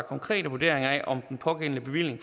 konkrete vurderinger af om den pågældende bevilling